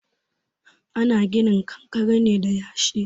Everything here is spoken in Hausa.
Ana ginin kankare ne da yashi.